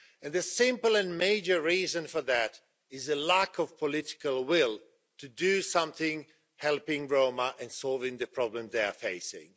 The simple and major reason for that is a lack of political will to do something to help Roma and solve the problems they are facing.